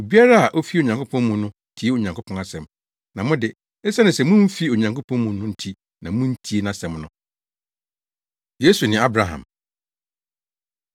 Obiara a ofi Onyankopɔn mu no tie Onyankopɔn asɛm. Na mo de, esiane sɛ mumfi Onyankopɔn mu no nti na muntie nʼasɛm no.” Yesu Ne Abraham